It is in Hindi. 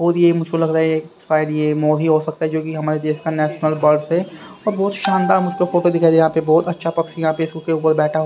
और ये मुझको लग रहा है ये शायद ये मोर ही हो सकता है जो कि हमारे देश का नेशनल बर्ड्स है और बहुत शानदार मुझको फोटो दिखाई यहां पे बहुत अच्छा पक्ष यहां पे इसके ऊपर बैठा--